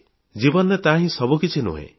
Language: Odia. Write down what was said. ଜୀବନରେ ତାହାହିଁ ସବୁକିଛି ନୁହେଁ